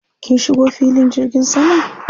Kin shigo filin jirgin saman?